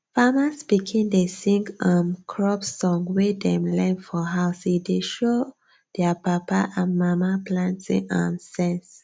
farmers pikin dey sing um crop song wey dem learn for house e dey show their papa and mama planting um sense